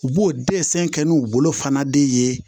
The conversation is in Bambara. U b'o desɛn kɛ n'u bolo fana de ye